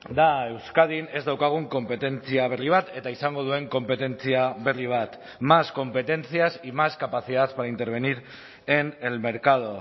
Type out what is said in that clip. da euskadin ez daukagun konpetentzia berri bat eta izango duen konpetentzia berri bat más competencias y más capacidad para intervenir en el mercado